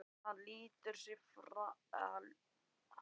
Hann slítur sig frá hurðinni og réttir úr sér.